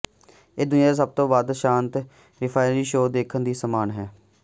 ਇਹ ਦੁਨੀਆ ਦਾ ਸਭ ਤੋਂ ਵੱਧ ਸ਼ਾਂਤ ਰਫਿਆਰੀ ਸ਼ੋਅ ਦੇਖਣ ਦੇ ਸਮਾਨ ਹੈ